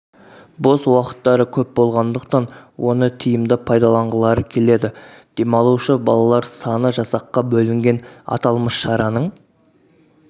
бос уақыттары көп болғандықтан оны тиімді пайдаланғылары келеді демалушы балалар саны жасаққа бөлінген аталмыш шараның